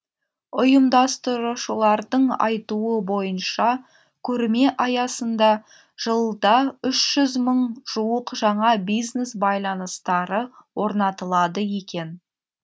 ұйымдастырушылардың айтуы бойынша көрме аясында жылда үш жүз мың жуық жаңа бизнес байланыстары орнатылады екен